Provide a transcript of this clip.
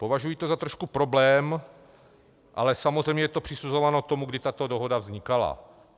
Považuji to za trošku problém, ale samozřejmě je to přisuzováno tomu, kdy tato dohoda vznikala.